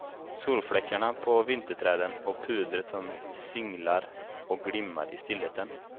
Solfläckarna på vinterträden, och pudret som singlar och glimmar i stillheten.